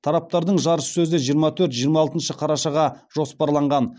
тараптардың жарыссөзі жиырма төрт жиырма алтыншы қарашаға жоспарланған